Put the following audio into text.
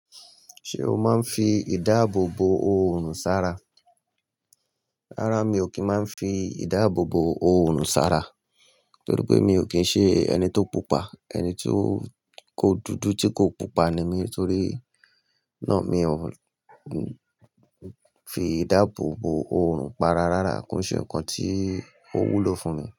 Ṣé o máa ń fi ìdáàbò bo òòrùn sára? Rárá, mi ò kí ń máa ń fi ìdáàbò bo òòrùn sára torí pé mi ò kí ń ṣe ẹni tó pupa. Ẹni tí ó kódùdú tí kò pupa ni mí torí náà mi ò fi ìdáàbò bo òòrùn para rárá. Kò ṣe nǹkan tí ó wúlò fún mi.